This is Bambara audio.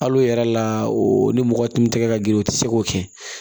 Hal'o yɛrɛ la o ni mɔgɔ tun tɛ ka girin o tɛ se k'o kɛ